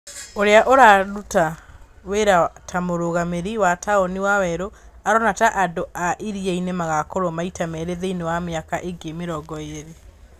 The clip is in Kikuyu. ũrĩa uraruta wĩra ta mũrũgamĩrĩri wa taũni Wawerũ, arona ta andũ a Iriainĩ magakorwo maita merĩ thĩinĩ wa mĩaka ĩngĩ mĩrongo ĩrĩ.